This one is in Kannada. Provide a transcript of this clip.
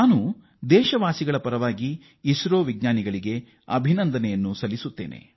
ನಮ್ಮ ದೇಶವಾಸಿಗಳ ಪರವಾಗಿ ನಾನು ಇಸ್ರೋದ ವಿಜ್ಞಾನಿಗಳನ್ನು ಅಭಿನಂದಿಸುತ್ತೇನೆ